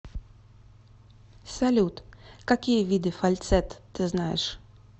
салют какие виды фальцет ты знаешь